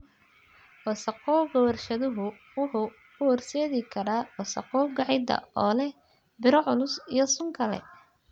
Wasakhowga warshaduhu wuxuu u horseedi karaa wasakhowga ciidda oo leh biro culus iyo sun kale.